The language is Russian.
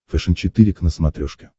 фэшен четыре к на смотрешке